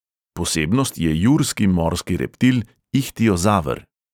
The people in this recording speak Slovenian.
Posebnost je jurski morski reptil ihtiozaver.